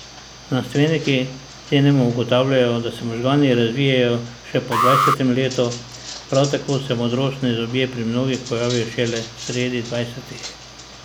Znanstveniki denimo ugotavljajo, da se možgani razvijajo še po dvajsetem letu, prav tako se modrostni zobje pri mnogih pojavijo šele sredi dvajsetih.